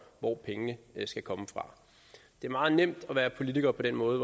hvor pengene skal komme fra det er meget nemt at være politiker på den måde